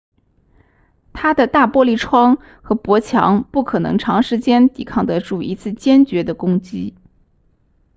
它的大玻璃窗和薄墙不可能长时间抵抗得住一次坚决的攻击